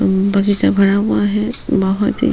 बगीचा भरा हुआ है बहुत ही --